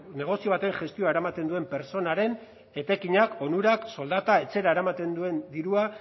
negozio baten gestioa eramaten duen pertsonaren etekinak onurak soldata etxera eramaten duen dirua